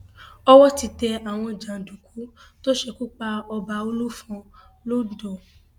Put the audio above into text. owó ti tẹ àwọn jàǹdùkú tó ṣekú pa ọba olúfọn londo